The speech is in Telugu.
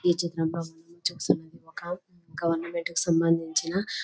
ఈ చిత్రంలో చూస్తుంటే ఒక గవర్నమెంట్ ఆఫీస్ కి సంబంధించిన--